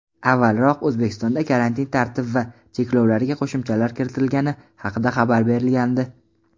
Avvalroq O‘zbekistonda karantin tartib va cheklovlariga qo‘shimchalar kiritilgani haqida xabar berilgandi.